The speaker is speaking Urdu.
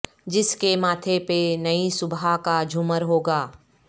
جس کے ماتھے پہ نئی صبح کا جھومر ہوگا